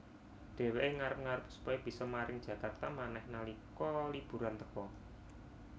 Dheweké ngarep ngarep supaya bisa maring Jakarta manèh nalika liburan teka